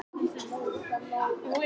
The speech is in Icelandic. Svínaflensan snýr aftur